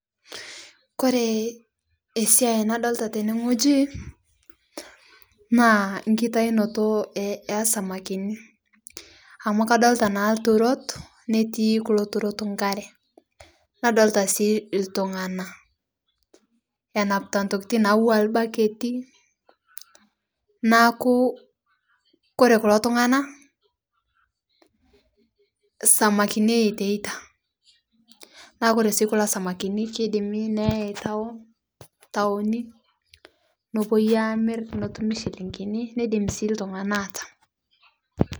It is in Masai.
Kore esia nadolita tene ngoji naa nkitainoto esamakini amu kadolita naa lturot netii kulo turot nkaree nadolita sii ltung'ana enapitaa ntokitin natuwaa lbaketi naaku kore kulo tung'ana samakini eitaitaa naakore sii kulo samakinii keidimi neyai town taoni nopuoi amir notumi shilingini neidim sii ltunaga atam.